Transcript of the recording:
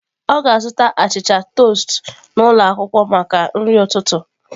Ọ ga-azụta achịcha toast n'ụlọ akwụkwọ maka nri ụtụtụ.